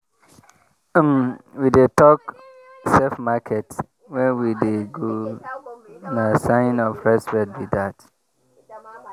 um we dey talk “safe market” when we dey go na sign of respect be that.